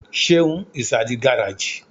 Seun is at the garage